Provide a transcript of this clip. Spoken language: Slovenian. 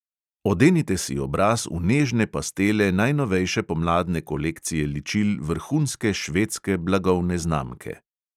Odenite si obraz v nežne pastele najnovejše pomladne kolekcije ličil vrhunske švedske blagovne znamke.